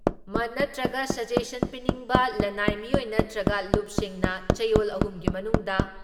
ꯃꯠ ꯅꯠꯇ꯭ꯔꯒ ꯁꯖꯦꯁꯟ ꯄꯤꯅꯤꯡꯕ ꯂꯟꯅꯥꯏ ꯃꯤꯑꯣꯏ ꯅꯠꯇ꯭ꯔꯒ ꯂꯨꯞꯁꯤꯡꯅ ꯆꯌꯣꯜ ꯑꯍꯨꯝꯒꯤ ꯃꯅꯨꯡꯗ